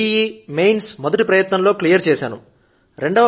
JEE Mains మొదటి ప్రయత్నం లో క్లియర్ చేశాను